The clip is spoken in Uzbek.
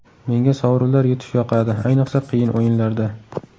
Menga sovrinlar yutish yoqadi, ayniqsa qiyin o‘yinlarda.